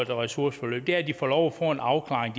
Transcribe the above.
ressourceforløb er at de får lov at få en afklaring